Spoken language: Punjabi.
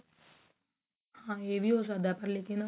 ਹਾਂ ਏਹ ਵੀ ਹੋ ਸਕਦਾ ਪਰ ਲੇਕਿਨ